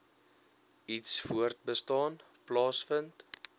iets voortbestaan plaasvind